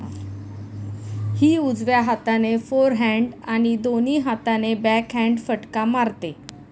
ही उजव्या हाताने फोरहँड आणि दोन्ही हाताने बॅकहँड फटका मारते.